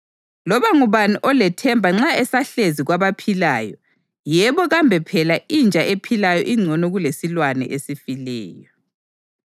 Loba ngubani olethemba nxa esahlezi kwabaphilayo, yebo kambe phela inja ephilayo ingcono kulesilwane esifileyo!